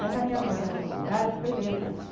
Mas a minha primeira faculdade foi letras.